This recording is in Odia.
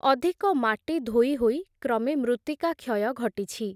ଅଧିକ ମାଟି ଧୋଇ ହୋଇ, କ୍ରମେ ମୃତ୍ତିକା କ୍ଷୟ ଘଟିଛି ।